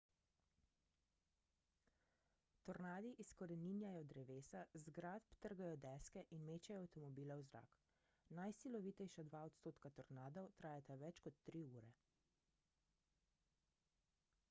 tornadi izkoreninjajo drevesa z zgradb trgajo deske in mečejo avtomobile v zrak najsilovitejša dva odstotka tornadov trajata več kot tri ure